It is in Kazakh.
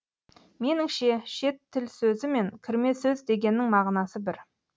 меніңше шет тіл сөзі мен кірме сөз дегеннің мағынасы бір